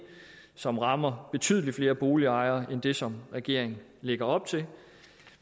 som rammer betydelig flere boligejere end det som regeringen lægger op til